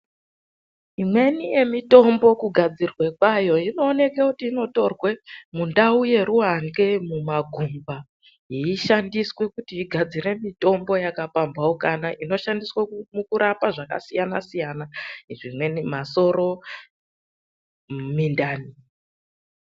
Imweni yemitombo kugadzirwe kwayo inooneke kuti inotorwa mundau yeruwandhle mumagungwa yeishandiswe kuti igadzire mitombo yakapamhaukana inoshandiswe mukurapa zvakasiyana siyana, zvimweni masoro, mindani.